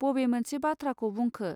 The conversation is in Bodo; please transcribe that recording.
बबे मोनसे बाथ्राखौ बुंखो.